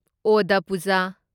ꯑꯣꯗ ꯄꯨꯖꯥ